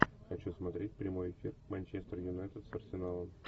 хочу смотреть прямой эфир манчестер юнайтед с арсеналом